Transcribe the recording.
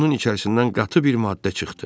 Onun içərisindən qatı bir maddə çıxdı.